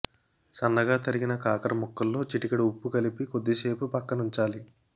సన్నగా తరిగిన కాకర ముక్కల్లో చిటికెడు ఉప్పు కలిపి కొద్దిసేపు పక్కనుంచాలి